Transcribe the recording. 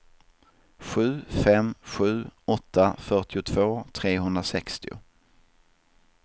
sju fem sju åtta fyrtiotvå trehundrasextio